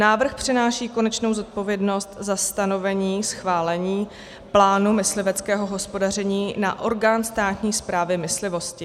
Návrh přenáší konečnou zodpovědnost za stanovení, schválení plánu mysliveckého hospodaření na orgán státní správy myslivosti.